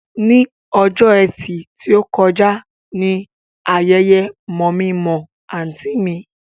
Ní ọjọ́ ẹtì tí ó kọjá ni ayẹyẹ mọ̀-mí-n-mọ̀-ọ́ àǹtí mi